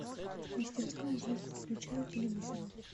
мастерская звук выключай у телевизора